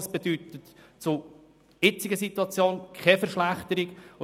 Das bedeutet keine Verschlechterung im Vergleich zur heutigen Situation.